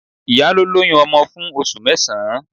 Ìyá ló lóyún ọmọ fún oṣù mẹ́sàn-án.